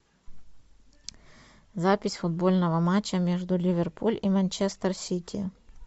запись футбольного матча между ливерпуль и манчестер сити